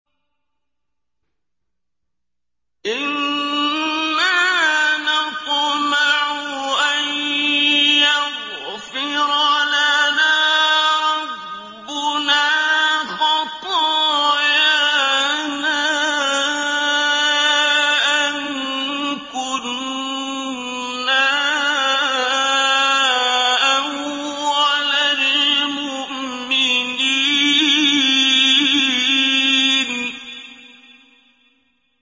إِنَّا نَطْمَعُ أَن يَغْفِرَ لَنَا رَبُّنَا خَطَايَانَا أَن كُنَّا أَوَّلَ الْمُؤْمِنِينَ